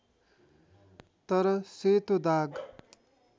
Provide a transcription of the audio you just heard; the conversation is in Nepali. तर सेतो दाग